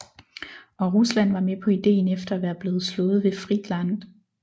Og Rusland var med på ideen efter at være blivet slået ved Friedland